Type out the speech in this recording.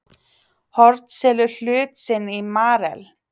Horn selur hlut sinn í Marel